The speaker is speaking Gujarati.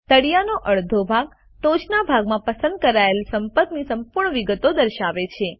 તળિયેનો અડધો ભાગ ટોચના ભાગમાં પસંદ કરાયેલ સંપર્કની સંપૂર્ણ વિગતો દર્શાવે છે